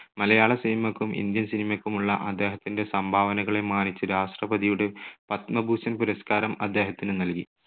മലയാള cinema ക്കും Indian cinema ക്കുമുള്ള അദ്ദേഹത്തിന്റെ സംഭാവനകളെ മാനിച്ച് രാഷ്ട്രപതിയുടെ പത്മഭൂഷൺ പുരസ്കാരം അദ്ദേഹത്തിന് നൽകി.